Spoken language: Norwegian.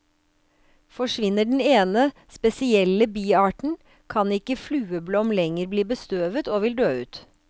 Forsvinner den ene, spesielle biarten, kan ikke flueblom lenger bli bestøvet, og vil dø ut.